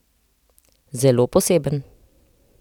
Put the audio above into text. Zelo poseben.